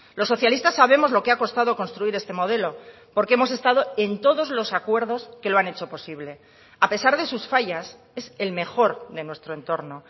los socialistas sabemos lo que ha costado construir este modelo porque hemos estado en todos los acuerdos que lo han hecho posible a pesar de sus fallas es el mejor de nuestro entorno